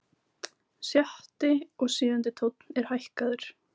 Sjötti og sjöundi tónn er hækkaður.